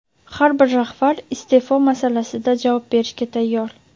har bir rahbar iste’fo masalasida javob berishga tayyor.